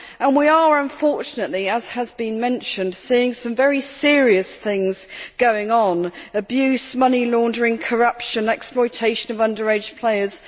We are, unfortunately, as has been mentioned, seeing some very serious things going on abuse, money laundering, corruption, exploitation of underage players